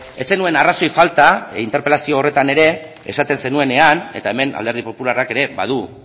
ez zenuen arrazoi falta interpelazio horretan ere esaten zenuenean eta hemen alderdi popularrak ere badu